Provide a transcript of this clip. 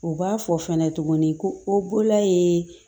O b'a fɔ fɛnɛ tuguni ko o bolola ye